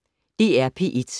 DR P1